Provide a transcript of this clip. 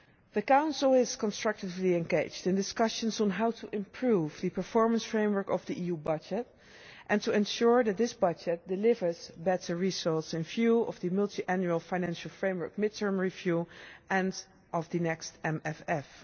The Council is constructively engaged in discussions on how to improve the performance framework of the EU budget and to ensure that this budget delivers better results in view of the Multiannual Financial Framework mid-term review and of the next MFF.